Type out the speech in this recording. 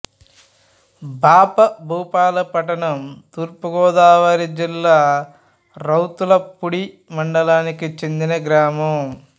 బాపభూపాలపట్నం తూర్పు గోదావరి జిల్లా రౌతులపూడి మండలానికి చెందిన గ్రామం